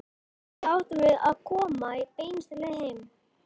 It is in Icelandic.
Þess í stað áttum við að koma beinustu leið heim.